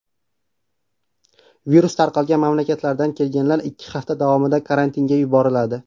Virus tarqalgan mamlakatlardan kelganlar ikki hafta davomida karantinga yuboriladi.